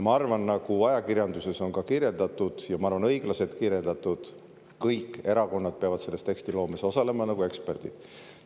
Nagu ajakirjanduses on kirjeldatud, ja ma arvan, et õigesti kirjeldatud: kõik erakonnad peavad selles tekstiloomes osalema nagu eksperdid.